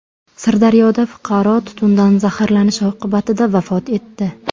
Sirdaryoda fuqaro tutundan zaharlanishi oqibatida vafot etdi.